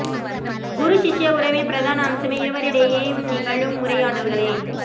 குரு சிஷ்ய உறவின் பிரதான அம்சமே இருவரிடையேயும் நிகழும் உரையாடல்களே